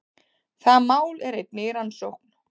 Það mál er einnig í rannsókn